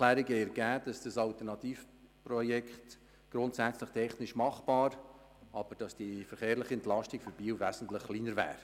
Die Abklärung hat ergeben, dass das Alternativprojekt grundsätzlich technisch machbar ist, aber dass die verkehrliche Entlastung für Biel wesentlich geringer wäre.